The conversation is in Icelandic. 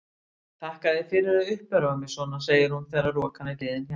Þakka þér fyrir að uppörva mig svona, segir hún þegar rokan er liðin hjá.